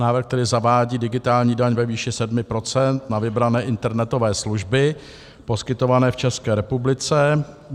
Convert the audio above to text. Návrh tedy zavádí digitální daň ve výši 7 % na vybrané internetové služby poskytované v České republice.